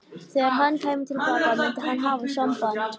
Þegar hann kæmi til baka myndi hann hafa samband.